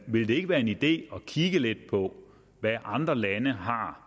ville det ikke være en idé at kigge lidt på hvad andre lande har